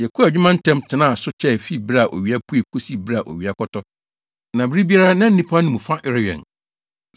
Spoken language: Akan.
Yɛkɔɔ adwuma ntɛm tenaa so kyɛe fi bere a owia pue kosi bere a owia kɔtɔ. Na bere biara na nnipa no mu fa rewɛn.